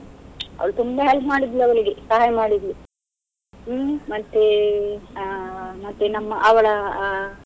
ಅವ್ಳು ತುಂಬಾ help ಮಾಡಿದ್ಲು ಅವ್ಳಿಗೆ, ಸಹಾಯ ಮಾಡಿದ್ಲು. ಹ್ಮ್ ಮತ್ತೆ ಆ ಮತ್ತೆ ನಮ್ಮ ಅವಳ ಆ.